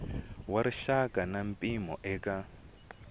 wa rixaka na mpimo eka